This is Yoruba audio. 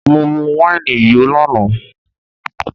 Mọ mu wáìnì yó lánàá